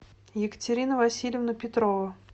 екатерина васильевна петрова